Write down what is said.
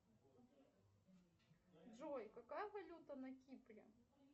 джой какая валюта на кипре